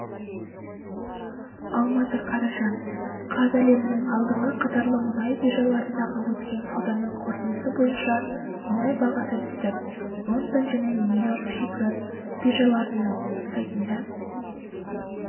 алматы қараша қаз әлемнің алдыңғы қатарлы мұнай биржаларындағы өткен сауданың қорытындысы бойынша мұнай бағасы түсті лондон және нью-йорк шикізат биржаларының сайтында